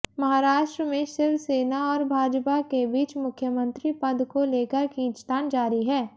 महाराष्ट्र में शिवसेना और भाजपा के बीच मुख्यमंत्री पद को लेकर खींचतान जारी है